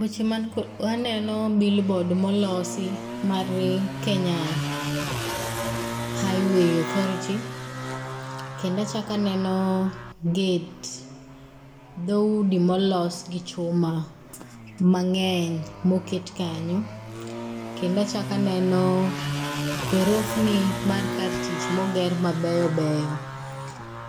Weche man kod, waneno billboard molosi mar Kenya Highway Authority. Kendo achak aneno gate dhoudi molos gi chuma mang'eny moket kanyo. Kendo achak aneno gorofni mar kar tich moger mabeyo beyo.